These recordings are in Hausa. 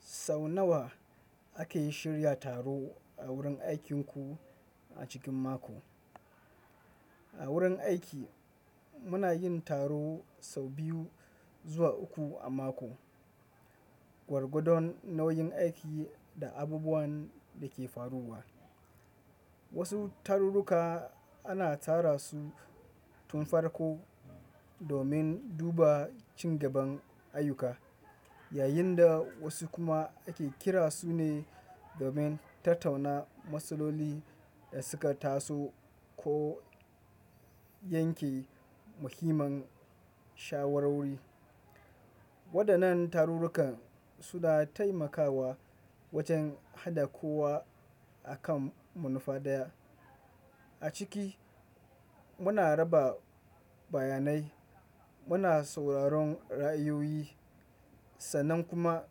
Sau nawa ake shirya taro a wurin aikinku a cikin mako? A wurin aiki muna yin taro sau biyu zuwa uku a mako. Gwargwadon nauyin aiki da abubuwan da ke faruwa. Wasu tarurruka ana tara su tun farko domin duba cigaban ayyuka, yayin da wasu kuma ake kira su ne domin tattauna matsaloli da suka taso ko yanke muhimman shawarwari. Waɗannan tarurruka su da taimakawa wajen haɗa kowa a kan manufa ɗaya. A ciki muna raba bayanai, muna sauraron ra'ayoyi, sannan kuma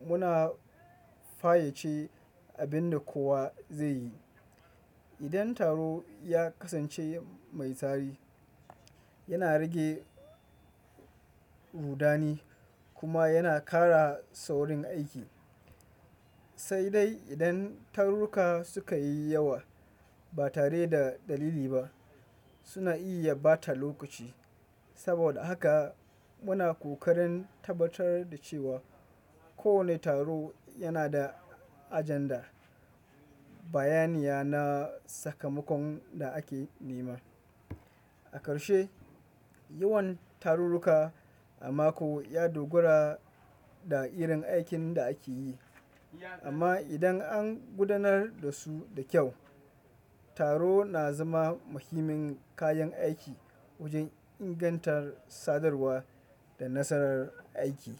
muna fayyace abin da kowa zai yi. Idan taro ya kasance mai tsari, yana rage rudani kuma yana ƙara saurin aiki. Sai dai idan tarurruka suka yi yawa ba tare da dalili ba, suna iya ɓata lokaci. Saboda haka muna ƙoƙarin tabbatar da cewa kowane taro yana da agenda, bayaniya na sakamakon da ake nema. A ƙarshe, yawan tarurruka a mako ya dogara da irin aikin da ake yi. Amma idan an gudanar da su da kyau, taro na zama muhimmin kayan aiki wajen ingantar sadarwa da nasarar aiki.